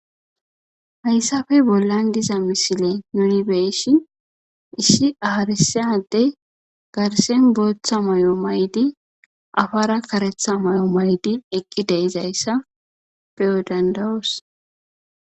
hayssafe bollan diza misile nunibeeshi issi aharisade garsen booththa may7o maydi afara karetha may7o maydi eqqi deizayssa peyo dandawoos